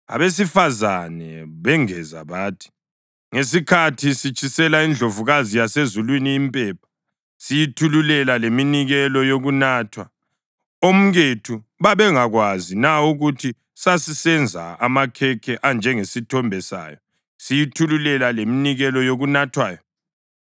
Abesifazane bengeza bathi, “Ngesikhathi sitshisela iNdlovukazi yaseZulwini impepha, siyithululela leminikelo yokunathwa, omkethu babengakwazi na ukuthi sasisenza amakhekhe anjengesithombe sayo, siyithululela leminikelo yokunathwayo?”